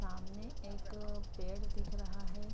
सामने एक पेड़ दिख रहा है।